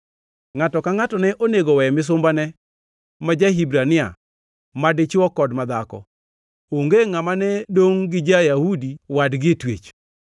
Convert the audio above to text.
Ngʼato ka ngʼato ne onego we misumbane ma ja-Hibrania, madichwo kod ma dhako; onge ngʼama ne dongʼ gi ja-Yahudi wadgi e twech.